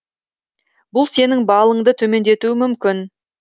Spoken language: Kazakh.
бұл сенің балыңды төмендетуі мүмкін